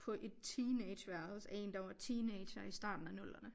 På et teenageværelse af én der var teenager i starten af nullerne